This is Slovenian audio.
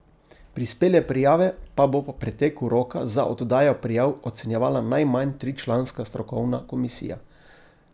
Prispele prijave pa bo po preteku roka za oddajo prijav ocenjevala najmanj tričlanska strokovna komisija.